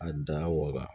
A da waga